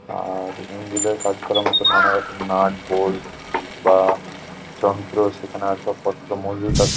আর engine -এর কাজ করার মধ্যে নানা রকম নাট বোল্ট বা যন্ত্র সেখানে আসার পত্র মজুদ আছে।